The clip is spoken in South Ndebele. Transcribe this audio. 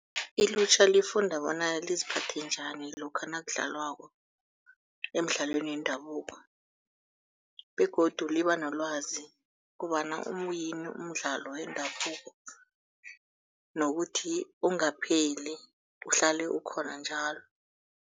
Ilutjha lifunda bona liziphathe njani lokha nakudlalwako emidlalweni yendabuko begodu liba nolwazi kobana uyini umdlalo wendabuko nokuthi ungapheli, uhlale ukhona njalo.